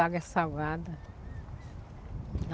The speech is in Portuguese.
A água é salgada.